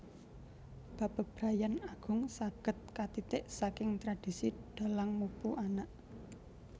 Bab bebrayan agung saged katitik saking tradisi Dhalang mupu anak